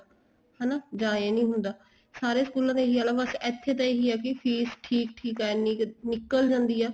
ਹਨਾ ਜਾਂ ਇਹ ਨਹੀਂ ਹੁੰਦਾ ਸਾਰੇ ਸਕੂਲਾਂ ਦਾ ਏਹੀ ਹਾਲ ਆ ਬੱਸ ਇੱਥੇ ਦਾ ਇਹੀ ਆ ਫ਼ੀਸ ਠੀਕ ਠੀਕ ਆ ਐਨੀ ਕ਼ ਨਿੱਕਲ ਜਾਂਦੀ ਆ